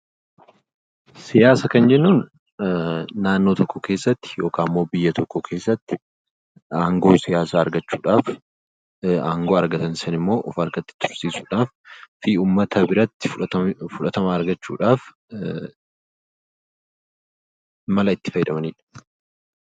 Siyaasa kan jennuun naannoo tokko keessatti yookaan immoo biyya tokko keessatti aangoo siyaasaa argachuudhaaf aangoo argatan sanammoo of harka tursiisuudhaa fi uummata biratti fudhatama argachuudhaaf mala itti fayyadamanidha.